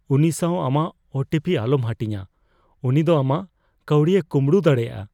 ᱩᱱᱤ ᱥᱟᱣ ᱟᱢᱟᱜ ᱳ ᱴᱤ ᱯᱤ ᱟᱞᱚᱢ ᱦᱟᱹᱴᱤᱧᱟ ᱾ ᱩᱱᱤ ᱫᱚ ᱟᱢᱟᱜ ᱠᱟᱹᱣᱰᱤᱭ ᱠᱚᱢᱵᱲᱚ ᱫᱟᱲᱮᱭᱟᱜᱼᱟ ᱾